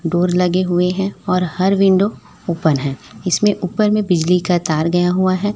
Door लगे हुए हैं और हर विंडो ओपन है इसमें ऊपर में बिजली का तार गया हुआ है।